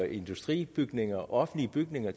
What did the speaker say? industribygninger og offentlige bygninger